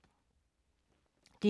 DR2